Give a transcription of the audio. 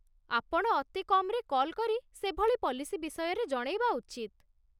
ଆପଣ ଅତି କମ୍‌ରେ କଲ୍ କରି ସେଭଳି ପଲିସୀ ବିଷୟରେ ଜଣେଇବା ଉଚିତ